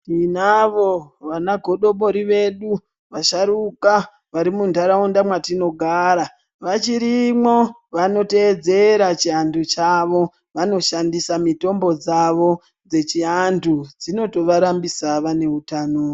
Tinavo vana godobori vedu vasharuka vari mu ndaraunda mwatino gara vachirimo vano teedzera chi antu chavo vano shandisa mitombo dzavo dzechi antu dzinoto varambisa vane utano.